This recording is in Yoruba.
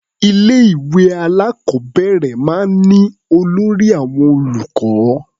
Ilé-ìwé alákọ̀ọ́bẹ̀rẹ̀ máa ń ní olórí àwọn olùkọ́.